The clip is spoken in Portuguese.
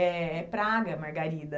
É é praga a margarida.